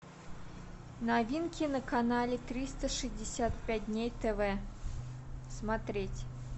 новинки на канале триста шестьдесят пять дней тв смотреть